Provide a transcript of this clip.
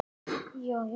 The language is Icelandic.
Er þetta flókið starf?